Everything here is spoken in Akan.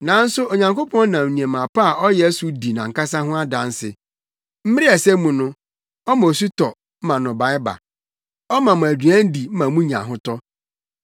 Nanso Onyankopɔn nam nneɛma pa a ɔyɛ so di nʼankasa ho adanse. Mmere a ɛsɛ mu no, ɔma osu tɔ ma nnɔbae ba; ɔma mo aduan di ma munya ahotɔ.”